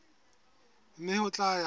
mme ho tla ya ka